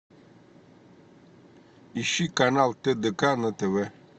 ищи канал тдк на тв